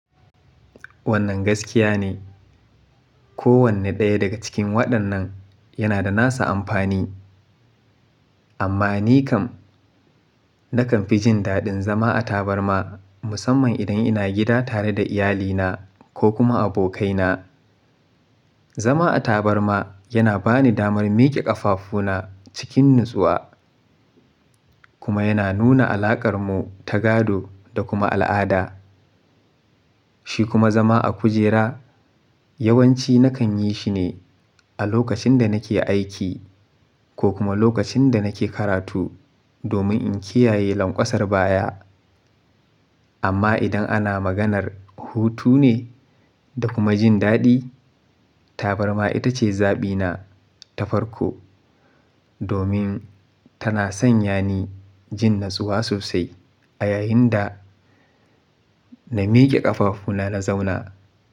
Wannan gaskiya ne. Ko wanne ɗaya daga cikin waɗannan yana da nasa amfani. Amma ni kam, nakan fi jin daɗin zama a tabarma musamman idan ina gida tare da iyalina ko kuma abokaina. Zama a tabarma yana bani damar miƙe ƙafafuna cikin natsuwa kuma yana nuna alaƙar mu ta gado da kuma al'ada. Shi kuma zama a kujera yawanci nakan yi shi ne a lokacin da nake aiki ko kuma lokacin da nake karatu domin in kiyaye lanƙwasar baya. Amma idan ana maganar hutu ne da kuma jin daɗi, tabarma ita ce zaɓina ta farko domin tana sanya ni jin natsuwa sosai a yayin da na miƙe ƙafafuna na zauna.